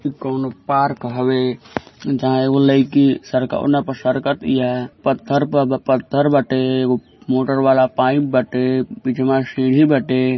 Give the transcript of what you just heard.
कोनो पार्क हवे जहाँ एगो लइकी सरकौना पे सरकतिया। पत्थर पे पत्थर बाटे। एगो मोटर वाला पाइप बाटे। पीछवा सीढ़ी बाटे।